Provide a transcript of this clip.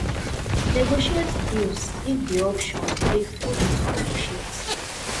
negotiate deals if di option dey for you to negotiate